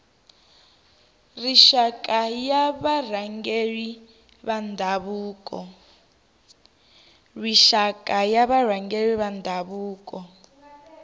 rixaka ya varhangeri va ndhavuko